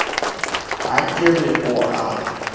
ha ke re o a